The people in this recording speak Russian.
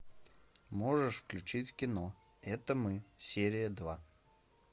можешь включить кино это мы серия два